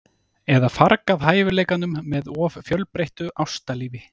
Eða fargað hæfileikanum með of fjölbreyttu ástalífi?